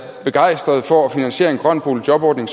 begejstrede for at finansiere en grøn boligjobordning